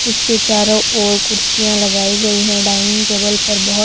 उसके चारों ओर कुर्सियां लगाई गई हैं डाइनिंग टेबल पर बहोत--